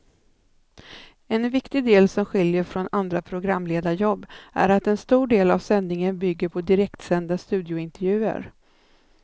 En viktig del som skiljer från andra programledarjobb är att en stor del av sändningen bygger på direktsända studiointervjuer.